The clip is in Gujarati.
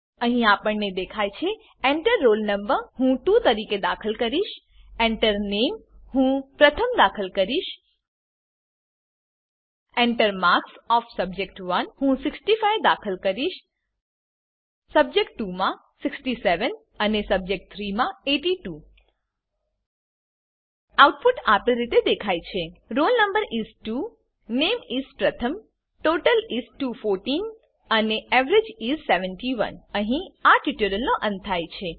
અહીં આપણને દેખાય છે Enter રોલ no હું 2 દાખલ કરીશ Enter Name હું પ્રથમ દાખલ કરીશ Enter માર્ક્સ ઓએફ સબ્જેક્ટ1 હું 65 દાખલ કરીશ સબ્જેક્ટ2 માં 67 અને સબ્જેક્ટ3 માં 82 આઉટપુટ આપેલ રીતે દેખાય છે રોલ નો is 2 નામે is પ્રથમ ટોટલ is 214 અને એવરેજ is 71 અહીં આ ટ્યુટોરીયલનો અંત થાય છે